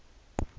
be le se le ya